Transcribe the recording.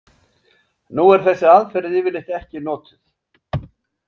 Nú er þessi aðferð yfirleitt ekki notuð.